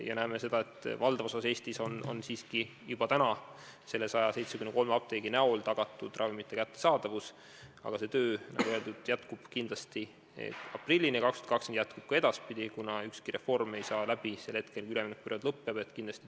Ja näeme seda, et valdavas osas Eestis on täna selle 173 apteegi näol ravimite kättesaadavus siiski juba tagatud, aga see töö, nagu öeldud, jätkub kindlasti 2020. aasta aprillini ja ka edaspidi, kuna ükski reform ei saa läbi sel hetkel, kui üleminekuperiood lõpeb.